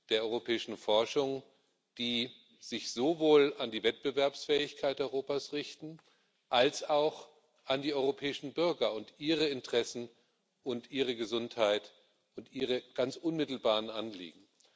der europäischen Forschung, die sich sowohl an die Wettbewerbsfähigkeit Europas richten als auch an die europäischen Bürger und ihre Interessen, ihre Gesundheit und ihre ganz unmittelbaren Anliegen.